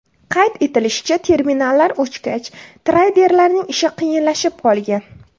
Qayd etilishicha, terminallar o‘chgach, treyderlarning ishi qiyinlashib qolgan.